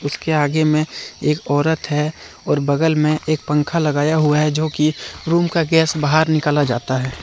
इसके आगे में एक औरत है और बगल में एक पंखा लगाया हुआ है जो कि रूम का गैस बाहर निकाला जाता है।